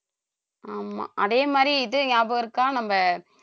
ஆமா அதே மாதிரி இது ஞாபகம் இருக்கா நம்ம